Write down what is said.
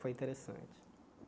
Foi interessante.